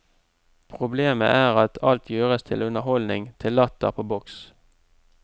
Problemet er at alt gjøres til underholdning, til latter på boks.